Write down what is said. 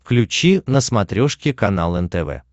включи на смотрешке канал нтв